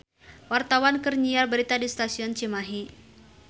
Wartawan keur nyiar berita di Stasiun Cimahi